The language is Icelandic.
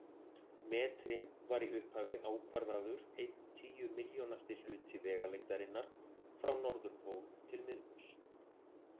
Metrinn var í upphafi ákvarðaður einn tíu milljónasti hluti vegalengdarinnar frá norðurpól til miðbaugs.